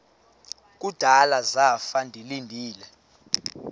kudala zafa ndilinde